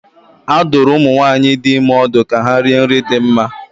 A dụrụ ụmụ nwaanyị dị ime ọdụ ka ha rie nri dị mma.